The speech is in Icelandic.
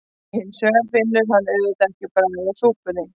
Hins vegar finnur hann auðvitað ekki bragðið af súpunni.